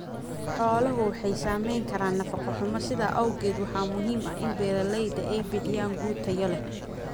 Xoolaha waxa saamayn kara nafaqo xumo, sidaa awgeed waxa muhiim ah in beeralayda ay bixiyaan quud tayo leh.